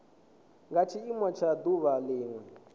nga tshiimo tsha duvha linwe